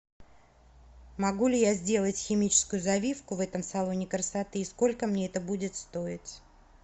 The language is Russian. могу ли я сделать химическую завивку в этом салоне красоты и сколько мне это будет стоить